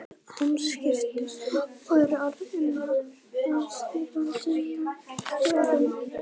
Þeir höfðu hamskipti og eru orðnir að sífrandi nöldurskjóðum.